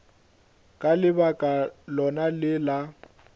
ka lebaka lona le la